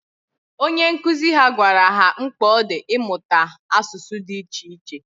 Onye nkuzi ha gwara ha mkpa ọ dị ịmụta asụsụ dị iche iche.